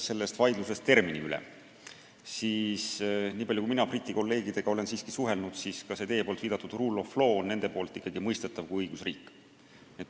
Kui alustada vaidlusest termini üle, siis nii palju kui mina Briti kolleegidega olen suhelnud, on see teie viidatud rule of law sealgi mõistetav kui õigusriik.